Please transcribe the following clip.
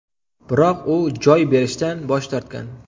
Biroq u joy berishdan bosh tortgan.